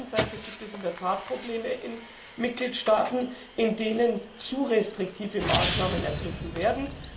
Auf der einen Seite gibt es in der Tat Probleme in Mitgliedstaaten, in denen zu restriktive Maßnahmen ergriffen werden.